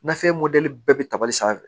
Nafe mɔdɛli bɛɛ bɛ tabali sanfɛ